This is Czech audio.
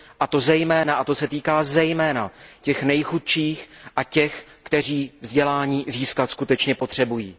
A to se týká zejména těch nejchudších a těch, kteří vzdělání získat skutečně potřebují.